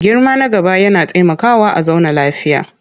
Girmama na gaba yana taimakawa a zauna lafiya.